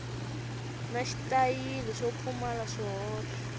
na xitayili swo pfumala swihoxo